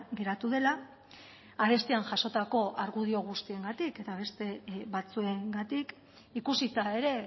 geratu dela arestian jasotako argudio guztiengatik eta beste batzuengatik ikusita ere